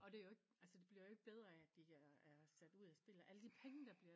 Og det er jo ikke altså det bliver jo ikke bedre af at de er sat ud af spillet alle de penge der bliver